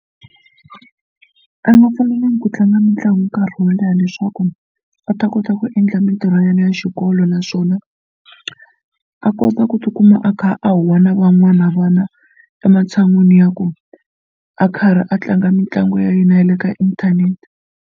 A nga fanelangi ku tlanga mitlangu nkarhi wo leha leswaku a ta kota ku endla mitirho ya yena ya xikolo naswona a kota ku tikuma a kha a huwa na van'wana vana ematshan'weni ya ku a karhi a tlanga mitlangu ya yena ya le ka inthanete.